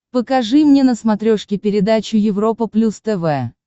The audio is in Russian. покажи мне на смотрешке передачу европа плюс тв